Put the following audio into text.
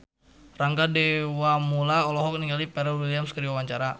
Rangga Dewamoela olohok ningali Pharrell Williams keur diwawancara